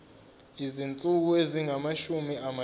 izinsuku ezingamashumi amathathu